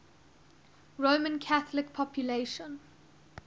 roman catholic population